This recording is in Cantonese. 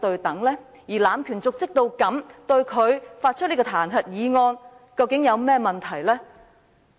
對一個濫權瀆職的人，對他提出彈劾議案，又有何問題？